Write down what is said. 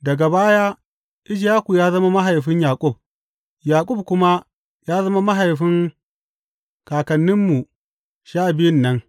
Daga baya Ishaku ya zama mahaifin Yaƙub, Yaƙub kuma ya zama mahaifin kakanninmu sha biyun nan.